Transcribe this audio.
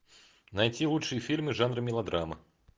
найти лучшие фильмы жанра мелодрама